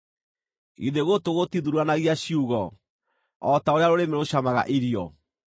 Githĩ gũtũ gũtithuuranagia ciugo o ta ũrĩa rũrĩmĩ rũcamaga irio?